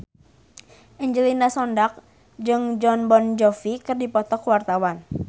Angelina Sondakh jeung Jon Bon Jovi keur dipoto ku wartawan